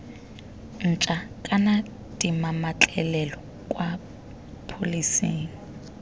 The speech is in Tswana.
ntšha kana dimametlelelo kwa pholeseng